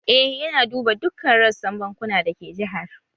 Eh yana duba dukkan rassan bankuna da ke jihar